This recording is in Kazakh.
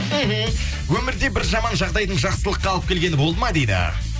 мхм өмірде бір жаман жағдайдың жақсылыққа алып келгені болды ма дейді